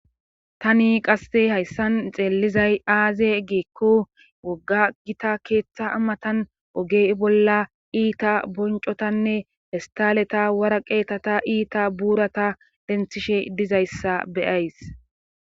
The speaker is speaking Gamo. Tani qasse hayssan xeellizay aaze giekko wogga gita keeththa amatan oge bolla iita boncotanne hestaleta waraqeetata iita buurata denthishe dizayssa beyays.